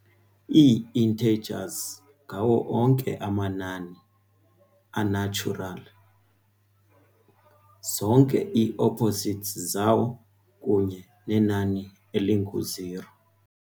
Ii-integers ngawo onke amanani a-natural, zonke ii-opposites zawo, kunye nenani elingu-zero.